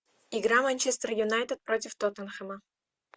игра манчестер юнайтед против тоттенхэма